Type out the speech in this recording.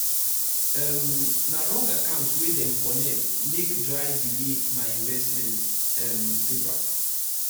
um na wrong akant wey dem connect make dry delay my investment um paper